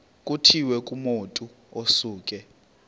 kutshiwo kumotu osuke